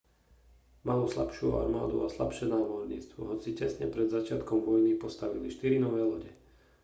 malo slabšiu armádu a slabšie námorníctvo hoci tesne pred začiatkom vojny postavili štyri nové lode